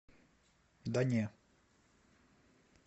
да не